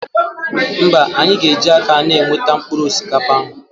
Mba, anyị ga eji aka na-eweta mkpụrụ osikapa ahụ